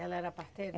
Ela era parteira?